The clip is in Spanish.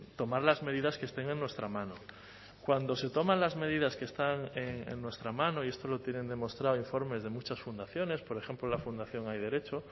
tomar las medidas que estén en nuestra mano cuando se toman las medidas que están en nuestra mano y esto lo tienen demostrado informes de muchas fundaciones por ejemplo la fundación hay derecho